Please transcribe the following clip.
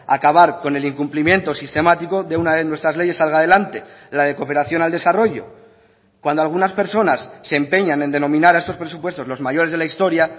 a acabar con el incumplimiento sistemático de una de nuestras leyes salga adelante la de cooperación al desarrollo cuando algunas personas se empeñan en denominar a estos presupuestos los mayores de la historia